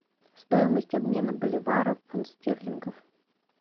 стоимость обмена боливара в фунт стерлингов